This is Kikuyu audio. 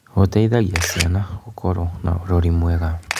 Gũteithagia ciana gũkorwo na ũrori mwega.